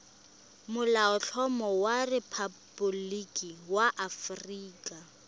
molaotlhomo wa rephaboliki ya aforika